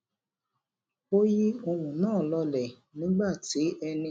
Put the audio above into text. ó yi ohun naa lole nígbà tí ẹnì